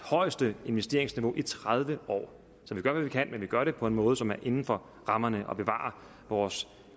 højeste investeringsniveau i tredive år så vi gør hvad vi kan men vi gør det på en måde som er inden for rammerne og som bevarer vores